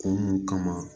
Kunun kama